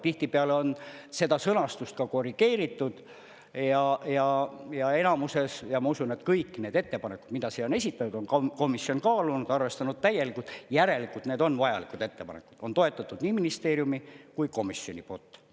Tihtipeale on seda sõnastust ka korrigeeritud ja enamuses ja ma usun, et kõik need ettepanekud, mida siia on esitatud, on komisjon kaalunud, arvestanud täielikult, järelikult need on vajalikud ettepanekud, on toetatud nii ministeeriumi kui komisjoni poolt.